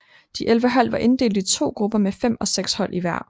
De 11 hold var inddelt i to grupper med fem og seks hold i hver